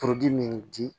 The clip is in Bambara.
min di